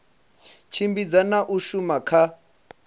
tshimbidza na u thusa kha